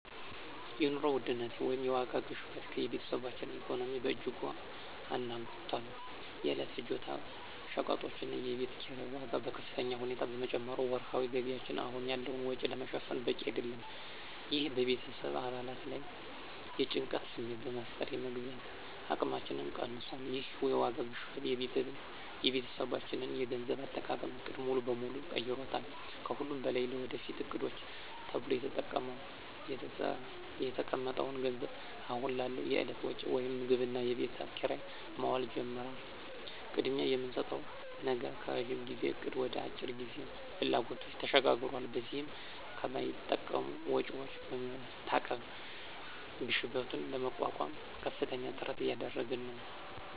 የኑሮ ውድነት (የዋጋ ግሽበት) የቤተሰባችንን ኢኮኖሚ በእጅጉ አናግቷል። የዕለት ፍጆታ ሸቀጦችና የቤት ኪራይ ዋጋ በከፍተኛ ሁኔታ በመጨመሩ ወርሃዊ ገቢያችን አሁን ያለውን ወጪ ለመሸፈን በቂ አይደለም። ይህ በቤተሰብ አባላት ላይ የጭንቀት ስሜት በመፍጠር የመግዛት አቅማችንን ቀንሶታል። ይህ የዋጋ ግሽበት የቤተሰባችንን የገንዘብ አጠቃቀም ዕቅድ ሙሉ በሙሉ ቀይሮታል። ከሁሉም በላይ ለወደፊት ዕቅዶች ተብሎ የተቀመጠው ገንዘብ አሁን ላለው የዕለት ወጪ (ምግብና የቤት ኪራይ) መዋል ጀምሯል። ቅድሚያ የምንሰጠው ነገር ከረዥም ጊዜ እቅድ ወደ የአጭር ጊዜ ፍላጎቶች ተሸጋግሯል። በዚህም ከማይጠቅሙ ወጪዎች በመታቀብ ግሽበቱን ለመቋቋም ከፍተኛ ጥረት እያደረግን ነው።